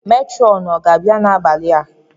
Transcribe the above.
Matronu ọ ga-abịa n’abalị?